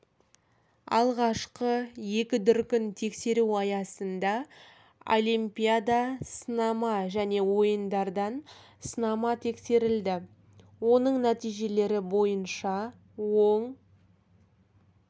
алғашқы екі дүркін тексеру аясында олипиада сынама және ойындардан сынама тексерілді оның нәтижелері бойынша оң